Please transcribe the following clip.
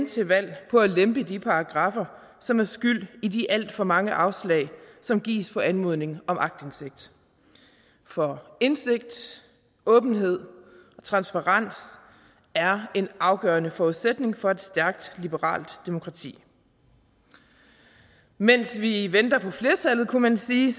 til valg på at lempe de paragraffer som er skyld i de alt for mange afslag som gives på anmodning om aktindsigt for indsigt åbenhed og transparens er en afgørende forudsætning for et stærkt liberalt demokrati mens vi venter på flertallet kunne man sige